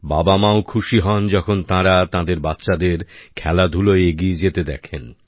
বাবামাও খুশি হন যখন তাঁরা তাঁদের বাচ্চাদের খেলাধুলোয় এগিয়ে যেতে দেখেন